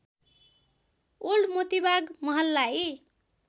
old Motibagh महललाई